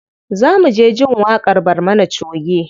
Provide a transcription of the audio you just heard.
Za mu je jin waƙar barmana choge.